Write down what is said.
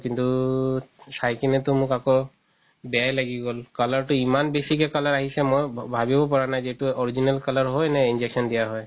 কিন্তু চাই কিনেতো মোক আকৌ বেয়াই লাগি গ'ল color তো ইমান বেচিকে color আহিছে মই ভাবিব পাৰা নাই যে এটো original color হয় নে injection দিয়া হয়